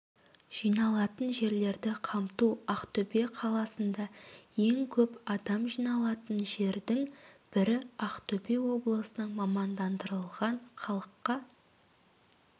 жиналатын жерлерді қамту ақтөбе қаласында ең көп адам жиналатын жердің бірі ақтөбе облысының мамандырылған халыққа